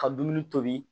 Ka dumuni tobi